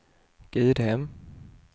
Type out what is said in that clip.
Gudhem